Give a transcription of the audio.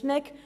Schnegg